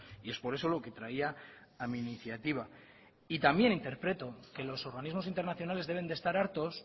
y es por eso lo que traía a mi iniciativa y también interpreto que los organismos internacionales deben de estar hartos